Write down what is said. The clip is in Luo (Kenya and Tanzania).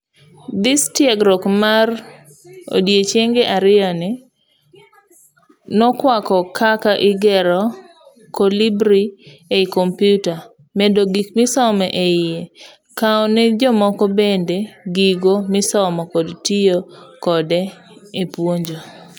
ThisTiegruok mar odiechienge ariyoni nokwako kaka igero Kolibri ei kompiuta ,medo gik misomo eiye, kowo nejomoko bende gigo misomo kod tiyo kode epuonjo.